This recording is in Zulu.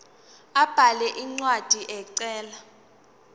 abhale incwadi ecela